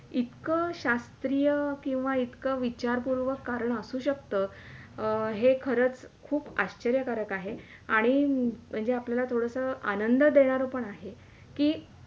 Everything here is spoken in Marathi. इतक शास्त्रीय किंवा इतक विचारपूर्वक कारण असू शकतं अं हे खरंच खूप आश्चर्य कारक आहे आणि हे आपल्याला थोडासा आनंद देणारा पण आहे कि